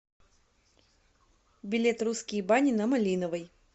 билет русские бани на малиновой